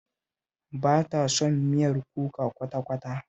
Ba ta son miyar kuka kwata-kwata